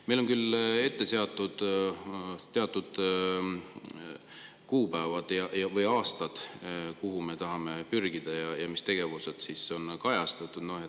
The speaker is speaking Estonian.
Meil on küll ette seatud teatud kuupäevad või aastad, me tahame pürgida ja mis tegevused.